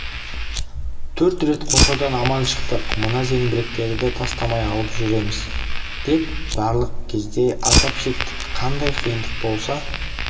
төрт рет қоршаудан аман шықтық мына зеңбіректерді тастамай алып жүреміз деп барлық кезде азап шектік қандай қиындық болса